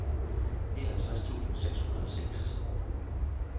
nioghalvtreds tusind seks hundrede og seks